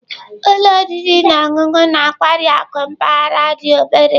Ụlọ oriri na ọṅụṅụ na nkwari akụ mpaghara dị obere